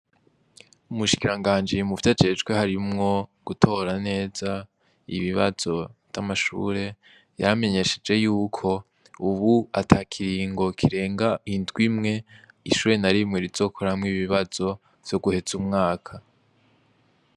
Umushikiranganji muvyajejwe harimwo gutora neza ibibazo vy'amashure, yaramenyesheje yuko ubu ata kiringo kirenga indwi imwe ishure na rimwe rizokoramwo ibibazo vyo guheza umwaka.